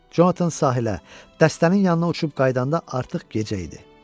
Conatan sahilə, dəstənin yanına uçub qayıdanda artıq gecə idi.